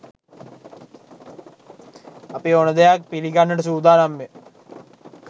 අපි ඕන දෙයක් පිලිගන්නට සූදානම් ය